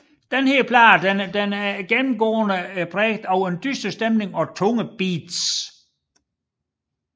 Denne plade er gennemgående præget af en dyster stemning og tunge beats